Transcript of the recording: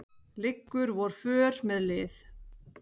liggur vor för með lið